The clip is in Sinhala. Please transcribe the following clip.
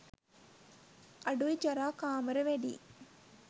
අඩුයි ජරා කාමර වැඩියි.